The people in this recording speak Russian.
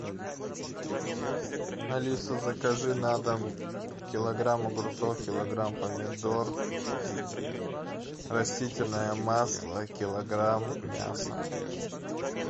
алиса закажи на дом килограмм огурцов килограмм помидор растительное масло килограмм мяса